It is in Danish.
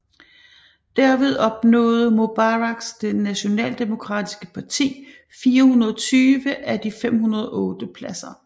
Derved opnåede Mubaraks Det Nationaldemokratiske parti 420 af de 508 pladser